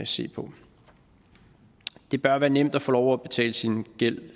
se på det bør være nemt at få lov til at betale sin gæld